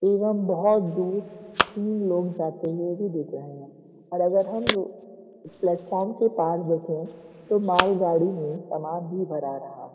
एवं बोहोत दूर तीन लोग जाते हुए भी दिख रहे हैं और अगर हम लो प्लेटफॉर्म के पार देखें तो मालगाड़ी में सामान भी भरा रहा।